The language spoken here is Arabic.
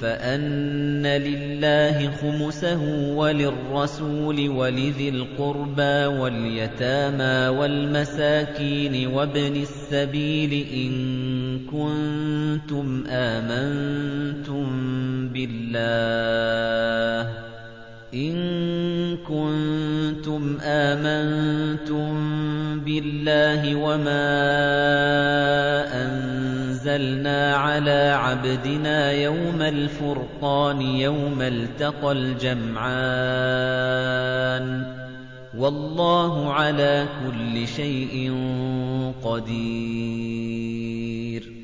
فَأَنَّ لِلَّهِ خُمُسَهُ وَلِلرَّسُولِ وَلِذِي الْقُرْبَىٰ وَالْيَتَامَىٰ وَالْمَسَاكِينِ وَابْنِ السَّبِيلِ إِن كُنتُمْ آمَنتُم بِاللَّهِ وَمَا أَنزَلْنَا عَلَىٰ عَبْدِنَا يَوْمَ الْفُرْقَانِ يَوْمَ الْتَقَى الْجَمْعَانِ ۗ وَاللَّهُ عَلَىٰ كُلِّ شَيْءٍ قَدِيرٌ